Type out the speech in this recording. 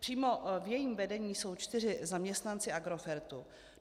Přímo v jejím vedení jsou čtyři zaměstnanci Agrofertu.